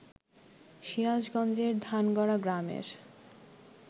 সিরাজগঞ্জের ধানগড়া গ্রামের